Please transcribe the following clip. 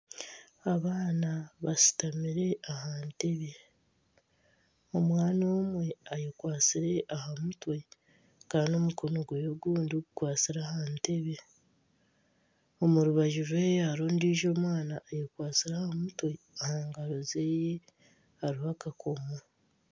Abaana bashutamire aha ntebbe omwana omwe ayekwatsire aha mutwe kandi omukono gwe ogundi gukwatsire aha ntebe omu rubaju rwe hariyo ondiijo omwana ayekwatsire aha mutwe aha ngaro ze hariho akakomo.